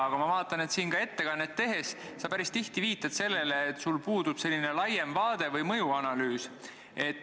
Aga ma vaatan, et ka ettekannet tehes sa päris tihti viitad sellele, et sul puudub selline laiem vaade või mõjuanalüüs.